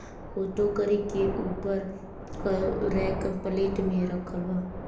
वो टोकरी के ऊपर क रैक प्लेट में रखल बा।